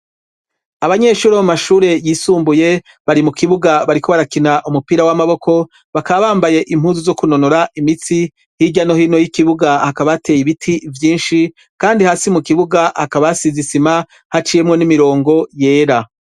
Abanyeshuri bo mumashuri yisumbuye, bari mu kibuga bariko barakina umupira w'amaboko, bakaba bambaye impuzu zo kunonora imitsi, hirya no hino y'ikibuga, hakaba hateye ibiti vyinshi, kandi hasi mu kibuga hakaba hasize isima, haciyemwo n'imirongo yera.